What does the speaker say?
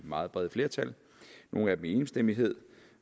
meget brede flertal nogle af dem i enstemmighed